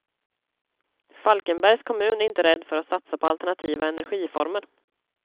Falkenbergs kommun är inte rädd för att satsa på alternativa energiformer.